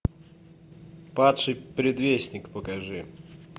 падший предвестник покажи